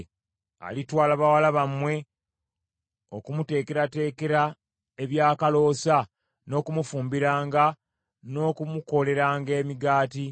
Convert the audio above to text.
Alitwala bawala bammwe, okumuteekerateekera ebyakaloosa, n’okumufumbiranga, n’okumukoleranga emigaati.